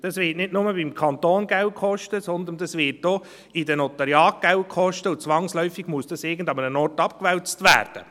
Das wird nicht nur beim Kanton Geld kosten, sondern das wird auch in den Notariaten Geld kosten, und zwangsläufig muss das an irgendeinen Ort abgewälzt werden.